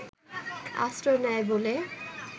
আশ্রয় নেয় বলে